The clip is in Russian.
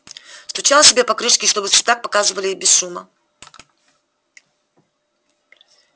стучал себе по крышке чтобы в цветах показывали и без шума